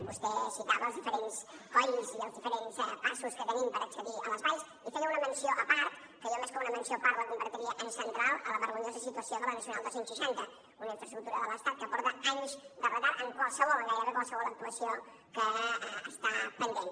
vostè citava els diferents colls i els diferents passos que tenim per accedir a les valls i feia una menció a part que jo més que una menció a part la convertiria en central a la vergonyosa situació de la nacional dos cents i seixanta una infraestructura de l’estat que porta anys de retard en qualsevol en gairebé qualsevol actuació que està pendent